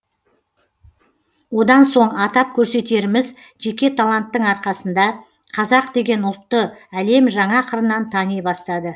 одан соң атап көрсетеріміз жеке таланттың арқасында қазақ деген ұлтты әлем жаңа қырынан тани бастады